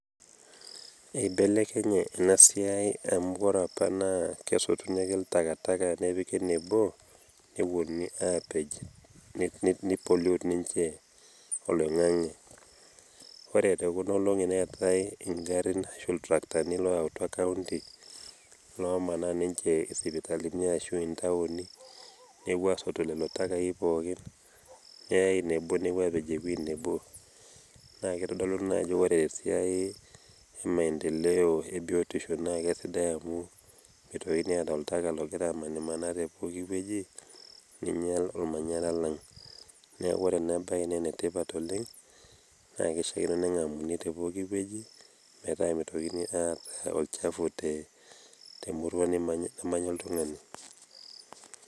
eibelekenye ena siai amu ore apa naa kesotuni ake takataka nepiki nebo. nepuonuni aapej. nei pollute ninche oloingange. ore tekuna olongi neetae igarin ashu iltarakitani looyautua kaonti lomanaa ninche isipitalini ashu intaoni, nepuo aasotu lelo takai pookin. neyyae nebo nepuo aapej ewuei nebo. naa kitodolu na ajo ore tesiai emaendeleo ebiotisho naa kesidai amu meitokini aata oltaka logira amanimanaa te poki wueji ninyial olmanyara lang'.neku ore ena bae naa enetipat oleng naa keishaakino nengamuni tepooki wueji, metaa mitokini aata olchafu temurua namanya oltungani.